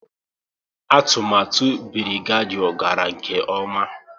Atụmatụ Birigadiau gara nke ọma